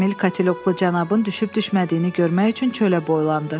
Emil kateloqlu cənabın düşüb-düşmədiyini görmək üçün çölə boylandı.